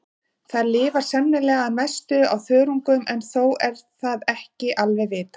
Þær lifa sennilega að mestu á þörungum en þó er það ekki alveg vitað.